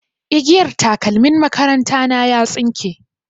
Igiyar takalmin makaranta na ya tsinke.